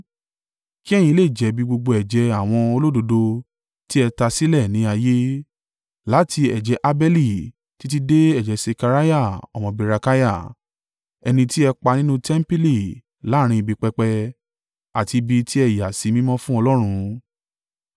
Kí ẹ̀yin lè jẹ̀bi gbogbo ẹ̀jẹ̀ àwọn olódodo tí ẹ ta sílẹ̀ ní ayé, láti ẹ̀jẹ̀ Abeli títí dé ẹ̀jẹ̀ Sekariah ọmọ Berekiah ẹni tí ẹ pa nínú tẹmpili láàrín ibi pẹpẹ àti ibi ti ẹ yà sí mímọ́ fún Ọlọ́run.